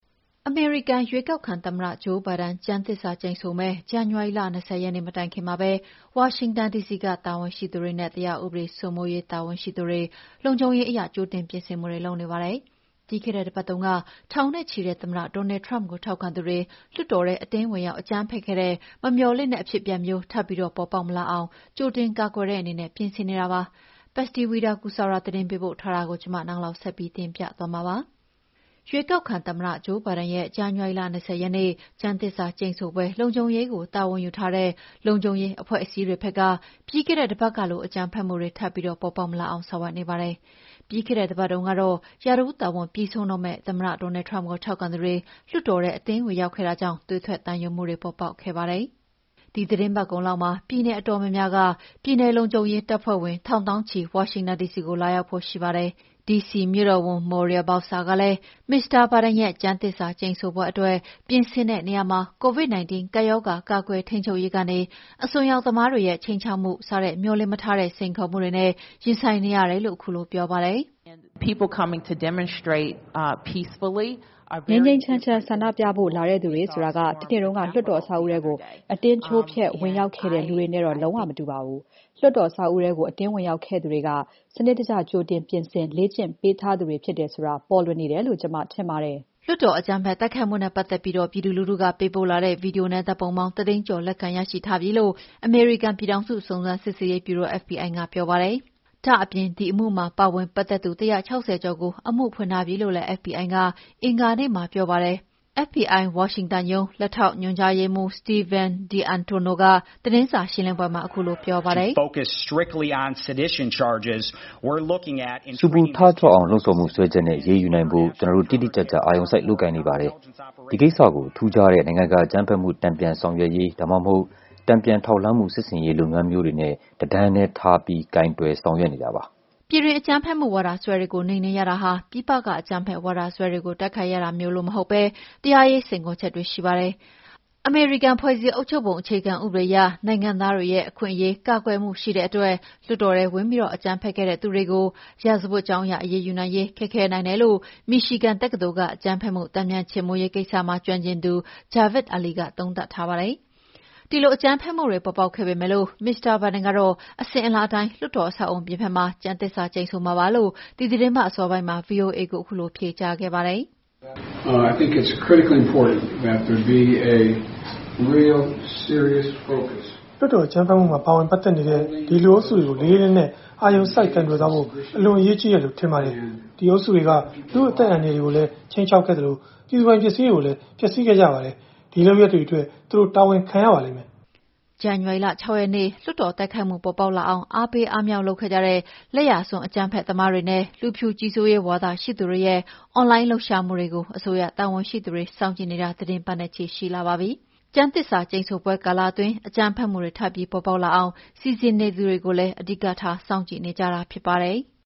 အမေရိကန် ရွေးကောက်ခံသမ္မတ ဂျိုးဘိုင်ဒန် ကျမ်းသစ္စာကျိန်ဆိုမယ့် ဇန်နဝါရီလ ၂၀ ရက်နေ့မတိုင်ခင်မှာပဲ ဝါရှင်တန်ဒီစီကတာဝန်ရှိသူတွေနဲ့ တရားဥပဒေစိုးမိုးရေး တာဝန်ရှိသူတေ လုံခြုံရေးအရ ကြိုတင်ပြင်ဆင်မှုတွေလုပ်နေကြပါတယ်။ ပြီးခဲ့တဲ့တပတ်တုန်းက ထောင်နဲ့ချီတဲ့ သမ္မတ Donald Trump ကိုထောက်ခံသူတွေ လွှတ်တော်ထဲ အတင်းဝင်ရောက် အကြမ်းဖက်ခဲ့တဲ့ မမေ ျှာ်လင့်တဲ့ အဖြစ်အပျက်မျိုး ထပ်ပြီးပေါ်ပေါက်မလာအောင် ကြိုတင်ကာကွယ်တဲ့အနေနဲ့ ပြင်ဆင်နေကြတာပါ။ Patsy Widakuswara သတင်းပေးပို့ထားတာကို နန်းလောင်ဝ်က တင်ပြထားပါတယ်။ ရွေးကောက်ခံသမ္မတ ဂျိုးဘိုင်ဒန်ရဲ့ ဇန်နဝါရီလ ၂၀ ရက်နေ့ ကျမ်းသစ္စာဆိုပွဲလုံခြုံရေးကို တာဝန်ယူထားတဲ့ လုံခြုံရေးအဖွဲ့အစည်းတွေဘက်က ပြီးခဲ့တဲ့တပတ်ကလို အကြမ်းဖက်မှုတွေထပ်ပြီးပေါ်ပေါက်မလာအောင် ဆောင်ရွက်နေကြပါတယ်။ ပြီးခဲ့တဲ့အပတ်တုန်းကတော့ ရာထူးတာဝန်ပြီးဆုံးတော့မယ့် သမ္မတ Donald Trump ကို ထောက်ခံသူတွေ လွှတ်တော်ထဲအတင်း ဝင်ရောက်ခဲ့တာကြောင့် သွေးထွက်သံယိုမှုတွေ ပေါ်ပေါက်ခဲ့တာပါ။ ဒီသီတင်းပတ်ကုန်လောက်မှာ ပြည်နယ်အတော်များများက ပြည်နယ်လုံခြုံရေး တပ်ဖွဲ့ဝင်ထောင်သောင်းချီ ဝါရှင်တန်ဒီစီကို ရောက်လာဖို့ရှိပါတယ်။ ဒီစီမြို့တော်ဝန် Muriel Bowser ကလည်း မစ္စတာ ဘိုင်ဒန်ရဲ့ ကျမ်းသစ္စာဆိုပွဲအတွက် ပြင်ဆင်တဲ့နေရာမှာ COVID -19 ကပ်ရောဂါ ကာကွယ်ထိန်းချုပ်ရေးကနေ အစွန်းရောက်သမားတွေရဲ့ ခြိမ်းခြောက်မှု စတဲ့မေ ျှာ်လင့်မထားတဲ့ စိန်ခေါ်မှုတွေနဲ့ ရင်ဆိုင်နေရတယ်လို့ ခုလိုပြောပါတယ်။ "ငြိမ်းငြိမ်းချမ်းဆန္ဒပြဖို့ လာသူတွေဆိုတာဟာ၊ တနေ့က လွှတ်တော်အဆောက်အအုံထဲ အတင်းချိုးဖျက်ဝင်ရောက်ခဲ့တဲ့ လူတွေနဲ့တော့ လုံးဝမတူပါဘူး။ လွှတ်တော်အဆောက်အဦးထဲ အတင်းဝင်ရောက်ခဲ့တဲ့သူတွေဟာ စနစ်တကျကြိုတင်ပြင်ဆင် လေ့ကျင့်ပေးထားသူတွေဖြစ်တယ်ဆိုတာ ပြနေတယ်လို့ ကျမထင်တယ်။" အမေရိကန် ပြည်ထောင်စု စုံစမ်းစစ်ဆေးရေးဗျူရို (FBI) က လွှတ်တော်အကြမ်းဖက်တိုက်ခိုက်မှုနဲ့ ပတ်သက်ပြီး ပြည်သူလူထုက ပေးပို့လာတဲ့ ဗွီဒီယိုနဲ့ ဓာတ်ပုံပေါင်း ၁၀၀,၀၀၀ ကျော်လက်ခံရှိထားပြီလို့ပြောပါတယ်။ ဒါ့အပြင် ဒီအမှုမှာ ပါဝင်ပတ်သက်သူ ၁၆၀ ကျော်ကို အမှုဖွင့်ထားပြီလို့လည်း FBI ရုံး လက်ထောက်ညွှန်ကြားရေးမှူး Steven D'Antuono ကသတင်းစာရှင်းလင်းပွဲမှာ ခုလိုပြောပါတယ်။ ဆူပူထကြွအောင် လှုံ့ဆော်မှုစွဲချက်နဲ့ အရေးယူနိုင်ဖို့ ကျနော်တို့ တိတိကျကျ အာရုံစိုက်လုပ်ကိုင်နေပါတယ်။ ဒီကိစ္စကိုထူးခြားတဲ့ နိုင်ငံတကာအကြမ်းဖက်မှု တန်ပြန်ဆောင်ရွက်ရေး ဒါမှမဟုတ် တန်ပြန်ထောက်လှမ်းမှု စစ်ဆင်ရေးလုပ်ငန်းမျိုးတွေနဲ့ တတန်းထဲထားပြီး ကိုင်တွယ်ဆောင်ရွက်နေတာပါ။ ပြည်တွင်း အကြမ်းဖက်ဝါဒစွဲတွေကို နှိမ်နင်းရတာဟာ ပြည်ပက အကြမ်းဖက်ဝါဒစွဲတွေကို တိုက်ခိုက်ရတာမျိုး မဟုတ်ဘဲ တရားရေးစိန်ခေါ်ချက်တွေ ရှိပါတယ်။ အမေရိကန် ဖွဲ့စည်းအုပ်ချုပ်ပုံ အခြေခံဥပဒေအရ နိုင်ငံသားတွေကို အခွင့်အရေးကာကွယ်မှုတွေ ရှိတဲ့အတွက် လွှတ်တော်ထဲ ဝင်ပြီး အကြမ်းဖက်ခဲ့တဲ့သူတွေကို ရာဇဝတ်ကြောင်းအရ အရေးယူနိုင်ရေးခက်ခဲနိုင်တယ်လို့ မီရှီဂန်တက္ကသိုလ်က အကြမ်းဖက်မှု တန်ပြန်ခြေမှုန်းရေးကိစ္စမှာ ကျွမ်းကျင်သူ Javed Ali က သုံးသပ်ပါတယ်။ ဒီလို အကြမ်းဖက်မှုတွေပေါ်ပေါက်ခဲ့ပေမဲ့ မစ္စတာဘိုင်ဒန်ကတော့ အစဉ်အလာအတိုင်း လွှတ်တော်အဆောက်အအုံအပြင်ဘက်မှာ ကျမ်းသစ္စာဆိုမှာပါလို့ ဒီသီတင်းပတ်အစောပိုင်းမှာ VOA ကိုခုလို ဖြေကြားခဲ့ပါတယ်။ “လွှတ်တော်အကြမ်းဖက်မှုမှာ ပါဝင်ပတ်သက်နေတဲ့ အဲဒီလူအုပ်စုတွေကို လေးလေးနက်နက် အာရုံစိုက်ကိုင်တွယ်သွားဖို့ အလွန်အရေးကြီးတယ်လို့ ထင်ပါတယ်။ အဲဒီအုပ်စုတွေက လူ့အသက်အန္တရာယ်တွေကိုလည်း ခြိမ်းခြောက်ခဲ့သလို ပြည်သူပိုင်ပစ္စည်းတွေကို ဖျက်ဆီးခဲ့ကြပါတယ်။ အဲဒီ လုပ်ရပ်တွေအတွက် သူတို့ တာဝန်ခံရပါလိမ့်မယ်။" ဇန်နဝါရီလ ၆ ရက်နေ့ လွှတ်တော်တိုက်ခိုက်မှုပေါ်ပေါက်လာအောင် အားပေးအားမြှောက်လုပ်ခဲ့ကြတဲ့ လက်ယာစွန်း အကြမ်းဖက်သမားတွေနဲ့ လူဖြူကြီးစိုးရေး ဝါဒရှိသူတွေရဲ့ အွန်လိုင်းလှုပ်ရှားမှုတွေကို အစိုးရတာဝန်ရှိသူတွေ စောင့်ကြည့်နေတာ သီတင်းပတ်နဲ့ချီရှိလာပါပြီ။ ကျမ်းသစ္စာဆိုပွဲကာလအတွင်း အကြမ်းဖက်မှုတွေ ထပ်ပြီးပေါ်ပေါက်လာအောင် စီစဉ်နေသူတွေကို အဓိကထား စောင့်ကြည့်နေတာဖြစ်ပါတယ်။